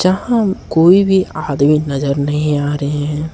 यहां कोई भी आदमी नजर नहीं आ रहे हैं।